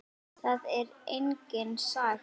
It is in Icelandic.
Það er engin saga.